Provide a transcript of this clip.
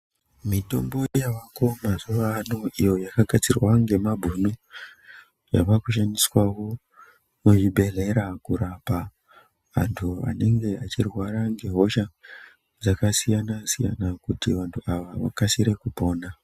Mitombo yavako mazuvano iyo yakagadzirwa ngemabhunu yava kushandiswawo muzvibhedhleya kurapa antu anenge achirwara ngehosha dzakasiyana siyana kuti vantu ava vakasire kupona.